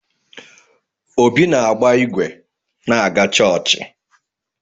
Obi na-agba ịgwe na-aga chọọchị.